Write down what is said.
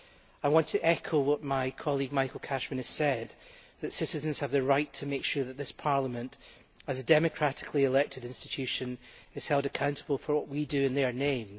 I want to echo what my colleague Michael Cashman has said that citizens have the right to make sure this Parliament, as a democratically elected institution, is held accountable for what we do in their name.